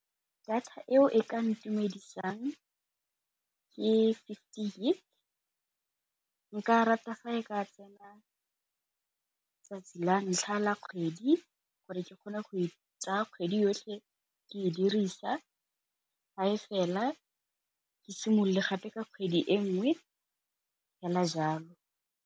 Data eo e ka ntumedisang ke fifty gig nka rata fa e ka tsena 'tsatsi la ntlha la kgwedi, gore ke kgone go tsaya kgwedi yotlhe ke e dirisa ga e fela ke simolole gape ka kgwedi e nngwe fela jalo.